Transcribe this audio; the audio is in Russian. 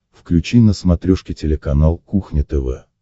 включи на смотрешке телеканал кухня тв